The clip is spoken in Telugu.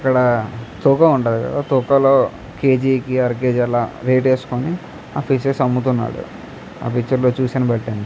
అక్కడ తుకవ ఉంటుంది కదా తుకవకేజీ కి అర కేజీ వెయిత్ వేసులోని అలా అముతున్నారు.